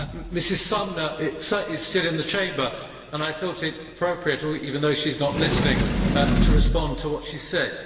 Mrs Sommer is still in the Chamber and I thought it appropriate, even though she is not listening, to respond to what she said.